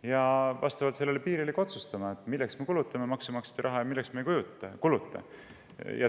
väga selge piiri ja otsustama, milleks me maksumaksja raha kulutame ja milleks me seda ei kuluta.